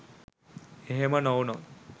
එහෙම නොවුනොත්